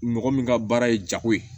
Mɔgɔ min ka baara ye jago ye